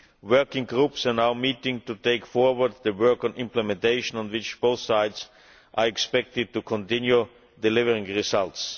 Working groups are now meeting to take forward the work on implementation on which both sides are expected to continue delivering results.